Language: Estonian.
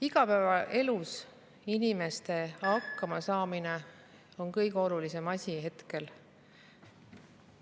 Igapäevaelus inimeste hakkamasaamine on kõige olulisem asi hetkel.